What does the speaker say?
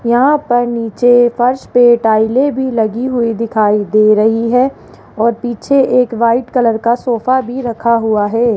यहां पर नीचे फर्श पे टाइलें भी लगीं हुईं दिखाई दे रही हैं और पिछे एक व्हाइट कलर का सोफ़ा रखा हुआ है।